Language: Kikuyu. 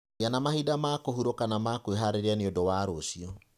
Gĩa na mahinda ma kũhurũka na ma kwĩharĩria nĩ ũndũ wa rũciũ.